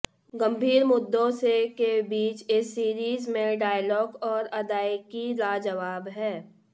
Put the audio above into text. गंभीर मुद्दों से के बीच इस सीरीज में डायलॅाग और अदायकी लाजवाब है